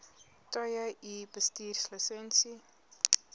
tye u bestuurslisensie